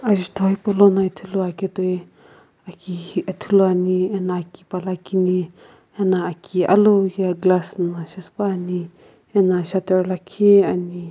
ajutho hepou lono Ithulu ake toi aki ithulu ane ano aki pala kini ano aki alu glass na shipaepane ano sater lakhi ane.